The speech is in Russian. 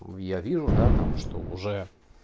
ну я вижу да там что уже